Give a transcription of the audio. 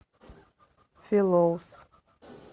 филоус